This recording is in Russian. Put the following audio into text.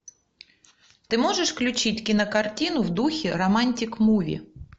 ты можешь включить кинокартину в духе романтик муви